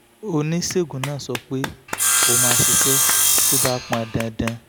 oníṣègùn náà sọ pé ó máa ṣiṣẹ́ tó bá pọn dandan